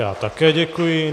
Já také děkuji.